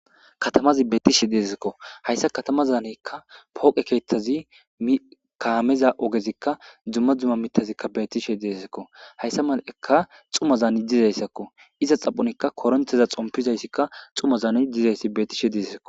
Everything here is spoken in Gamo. Katamazi betishe de'esiko haysa katamazan power keethazi kameza ogezika duma duma mithazika betishe de'esiko dhumazan dizaysako iza xaphon koronteza xompizaysia djumazan betishe dizaysako